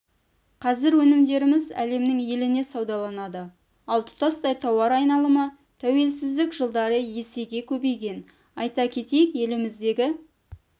қазір өнімдеріміз әлемнің еліне саудаланады ал тұтастай тауар айналымы тәуелсіздік жылдары есеге көбейген айта кетейік еліміздегі